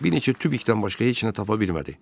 Bir neçə tubikdən başqa heç nə tapa bilmədi.